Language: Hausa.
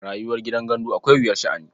Rayuwar gidan gandu akwai wuyar sha'ani.